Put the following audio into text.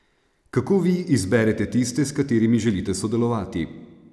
Kako vi izberete tiste, s katerimi želite sodelovati?